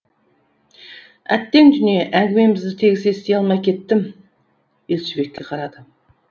әттең дүние әңгімеңізді тегіс ести алмай кеттім елшібекке қарады